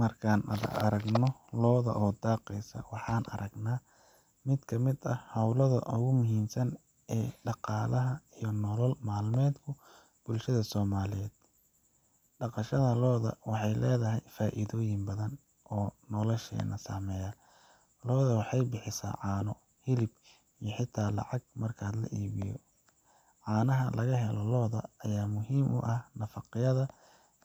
Marka aan aragno lo’ daaqaysa, waxaan aragnaa mid ka mid ah hawlaha ugu muhiimsan ee dhaqaalaha iyo nolol maalmeedka bulshada Soomaaliyeed. Dhaqashada lo’da waxay leedahay faa’iidooyin badan oo nolosheenna saameeya. Lo’du waxay bixisaa caano, hilib, iyo xataa lacag marka la iibiyo. Caanaha laga helo lo’da ayaa muhiim u ah nafaqada